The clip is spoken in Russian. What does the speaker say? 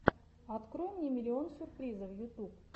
открой мне миллион сюрпризов ютуб